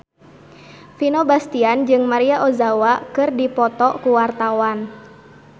Vino Bastian jeung Maria Ozawa keur dipoto ku wartawan